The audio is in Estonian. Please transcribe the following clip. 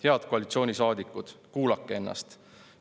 Head koalitsioonisaadikud, kuulake ennast!